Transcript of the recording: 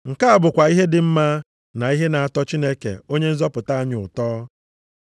Nke a bụkwa ihe dị mma na ihe na-atọ Chineke Onye nzọpụta anyị ezi ụtọ.